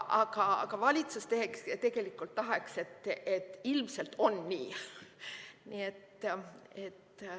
Aga valitsus tegelikult tahaks, et ilmselt on nii.